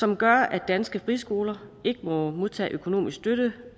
som gør at danske friskoler ikke må modtage økonomisk støtte